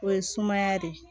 O ye sumaya de